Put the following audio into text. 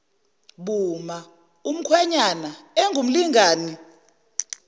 buma umkhwenyana engumlingani